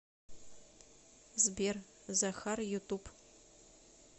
сбер захар ютуб